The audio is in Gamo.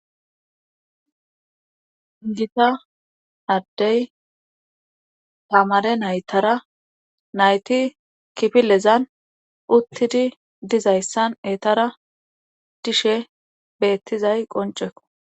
gita addey tamare naytara nayti kipilezan uttidi dizayssan eetara dishe beettizay qoncekko